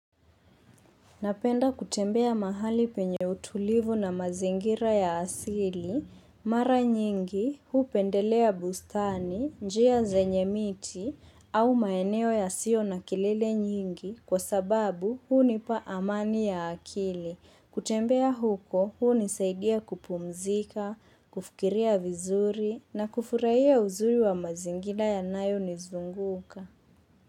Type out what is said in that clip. Napenda kutembea mahali penye utulivu na mazingira ya asili, mara nyingi, hupendelea bustani, njia zenye miti, au maeneo yasiyo na kelele nyingi, kwa sababu hunipa amani ya akili. Kutembea huko, hunisaidia kupumzika, kufikiria vizuri, na kufurahia uzuri wa mazingira yanayo nizunguka.